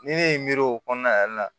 Ni ne ye n miiri o kɔnɔna yɛrɛ la